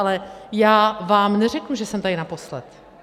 Ale já vám neřeknu, že jsem tady naposled.